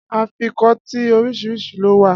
Afikọ́tí oríṣiríṣi ló wà